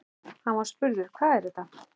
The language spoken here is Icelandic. Hann var spurður: Hvað er þetta?